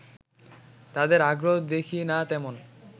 তাদের আগ্রহ দেখি না তেমন